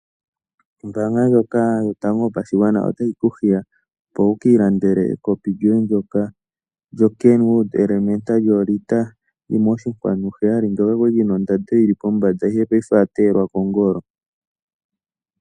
Ombanga ndjoka yotango yopashigwana otayi ku hiya opo wukiilandele ekopi lyoye ndoka lyoKenwood lyolita yimwe oshikwanu heyali ndoka kwali lina ondando yili pombanda ihe paife oya teyelwa kongolo.